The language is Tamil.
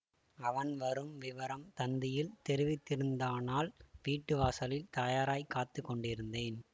அவன் வரும் விவரம் தந்தியில் தெரிவித்திருந்தானால் வீட்டு வாசலில் தயாராய்க் காத்து கொண்டிருந்தேன்